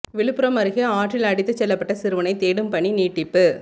விழுப்புரம் அருகே ஆற்றில் அடித்துச் செல்லப்பட்ட சிறுவனை தேடும் பணி நீட்டிப்பு